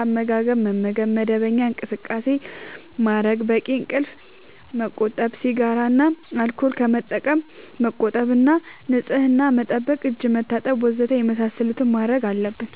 አመጋገብ መመገብ፣ መደበኛ እንቅስቃሴ ማድረግ፣ በቂ እንቅልፍ ማመቆጠብ፣ ሲጋራ እና አልኮል ከመጠቀም መቆጠብ እና ንጽህና መጠበቅ (እጅ መታጠብ ወዘተ) የመሳሰሉትን ማድረግ አለብን።